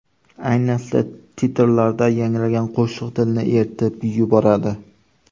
Ayniqsa titrlarda yangragan qo‘shiq dilni eritib yuboradi.